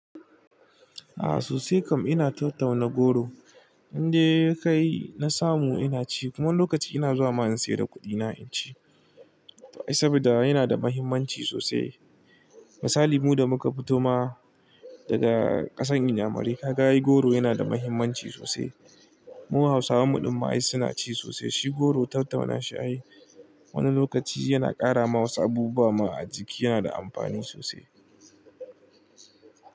A'a sosai kam ina tau-tauna goro. Inda yayi kai na samu ina ci kuma lokaci ina zuwa ma in sayar da kuɗina in ci. To ai saboda yana da muhimmanci sosai. Misali mu da muka fito ma daga ƙasan Inyamurka, ga ai goro yana da muhimmanci sosai. Mu Hausawa muɗum ma'ai suna ci sosai. Shi goro tau-tauna shi ai wani lokaci yana ƙara ma wasu abubuwa ma a jiki yana da amfani sosai.